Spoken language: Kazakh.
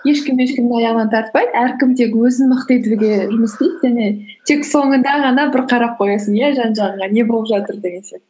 ешкім ешкімнің аяғынан тартпай әркім тек өзін мықты етуге жұмыс істейді және тек соңында ғана бір қарап қоясың иә жан жағыңа не болып жатыр деген сияқты